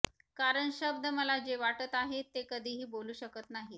कारण शब्द मला जे वाटत आहेत ते कधीही बोलू शकत नाहीत